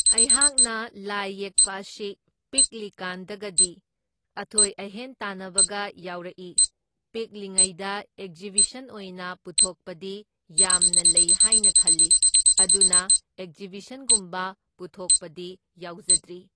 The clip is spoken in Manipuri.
ꯑꯩꯍꯥꯛꯅ ꯂꯥꯏ ꯌꯦꯛꯄ ꯑꯁꯤ ꯄꯤꯛꯂꯤ ꯀꯥꯟꯗꯒꯗꯤ ꯑꯊꯣꯏ ꯑꯍꯦꯟ ꯇꯥꯟꯅꯕꯒ ꯌꯥꯎꯔꯛꯏ꯫ ꯄꯤꯛꯂꯤꯉꯩꯗ ꯑꯦꯛꯖꯤꯕꯤꯁꯟ ꯑꯣꯏꯅ ꯄꯨꯊꯣꯛꯄꯗꯤ ꯌꯥꯝꯅ ꯂꯩ ꯍꯥꯢꯅ ꯈꯜꯂꯤ, ꯑꯗꯨꯅ ꯑꯦꯛꯖꯤꯕꯤꯁꯟꯒꯨꯝꯕ ꯄꯨꯊꯣꯛꯕꯗꯤ ꯌꯥꯎꯖꯗ꯭ꯔꯤ꯫